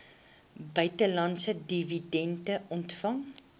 buitelandse dividende ontvang